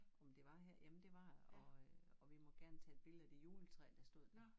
Om det var her jamen det var det og øh og vi måtte gerne tage et billede ved juletræet der stod her